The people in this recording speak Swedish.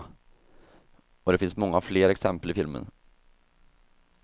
Och det finns många fler exempel i filmen.